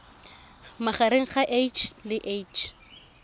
magareng ga h le h